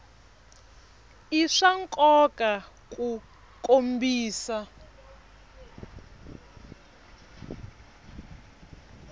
i swa nkoka ku kombisa